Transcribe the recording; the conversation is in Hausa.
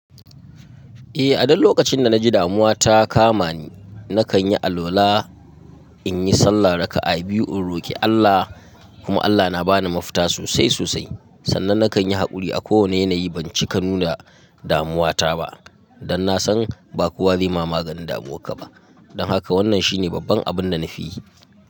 Eh, a duk lokacin da na ji damuwa ta kama ni, na kan yi alwala in yi sallah raka'a biyu in roki Allah kuma Allah na ba ni mafita sosai sosai. Sannan na kan yi haƙuri a kowane yanayi ban cika nuna damuwa ta ba, dan na san ba kowa zai ma maganin damuwarka ba. Don haka wannan shi ne babban abin da na fi yi.